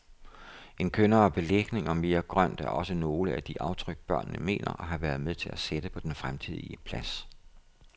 En kønnere belægning og mere grønt er også nogle af de aftryk, børnene mener at have været med til at sætte på den fremtidige plads.